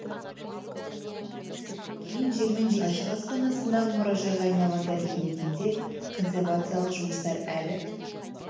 кейін жермен жексен болғаны мәлім ашық аспан астындағы мұражайға айналған тарихи мекенде консервациялық жұмыстар әлі